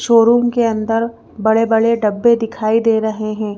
Showroom के अंदर बड़े-बड़े डब्बे दिखाई दे रहे हैं।